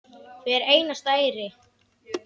Hvern einasta eyri.